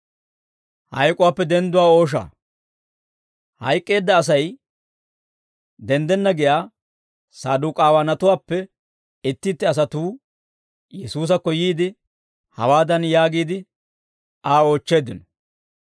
Hayk'k'eedda Asay denddenna giyaa Saduk'aawanatuwaappe itti itti asatuu Yesuusakko yiide, hawaadan yaagiide, Aa oochcheeddino;